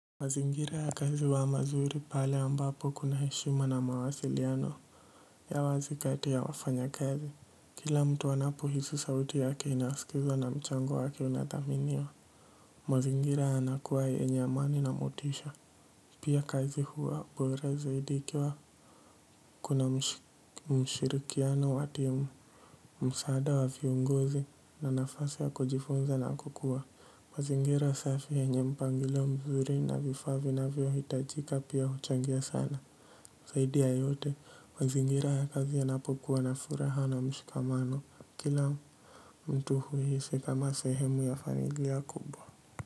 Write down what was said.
Mazingira ya kazi huwa mazuri pale ambapo kuna heshima na mawasiliano ya wazi kati ya wafanyakazi. Kila mtu anapo hisi sauti yake inaskizwa na mchango wake unadhaminiwa. Mazingira yanakuwa yenye amani na motisha. Pia kazi huwa bora zaidi ikiwa kuna mshirikiano wa timu, msaada wa viongozi na nafasi ya kujifunza na kukua. Mazingira safi yenye mpangilio mzuri na vifaa vinavyo hitajika pia huchangia sana zaidi ya yote, mazingira ya kazi ya napokuwa na furaha na mshikamano. Kila mtu huhisi kama sehemu ya familia kubwa.